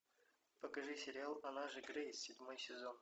покажи сериал она же грейс седьмой сезон